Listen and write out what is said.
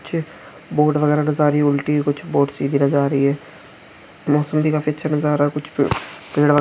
पीछे बोट वगेरा नजर आ रही हैउलटी कुछ बोट सीधी नजर आ रही है बहुत सुन्दर काफी अच्छा नारा कुछ पेड़ वा--